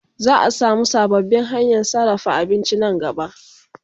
Za'a samu sababbin hanyan sarrafa abinci Nan gaba